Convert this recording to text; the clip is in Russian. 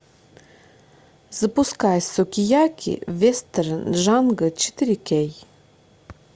запускай сукияки вестерн джанго четыре кей